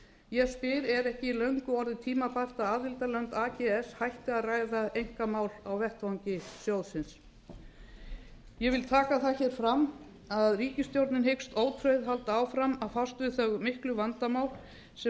ég spyr er ekki löngu orðið tímabært að aðildarlönd ags hætti að ræða einkamál á vettvangi sjóðsins ég vil taka það hér fram að ríkisstjórnin hyggst ótrauð halda áfram að fást við þau miklu vandamál sem